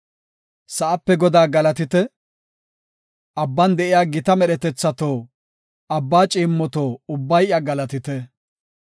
Sa7ape Godaa galatite! abban de7iya gita medhetethato; abba ciimmoto ubbay iya galatite.